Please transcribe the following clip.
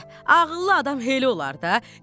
Ədə, ağıllı adam belə olar da.